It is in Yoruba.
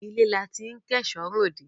Ilé là tí n kò èso rẹ òde